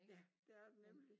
Ja det er det nemlig